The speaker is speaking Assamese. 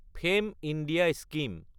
fame India scheme